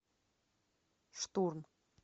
штурм